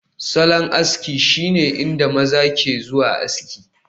Salon aski shine inda maza ke zuwa aski